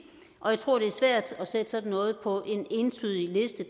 og jeg tror det er svært at sætte sådan noget på en entydig liste